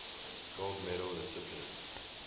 gold medal recipients